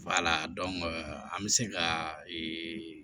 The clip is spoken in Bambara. an bɛ se ka ee